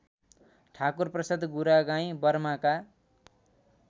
Thakurprasad Guragain बर्माका